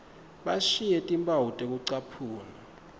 bashiye timphawu tekucaphuna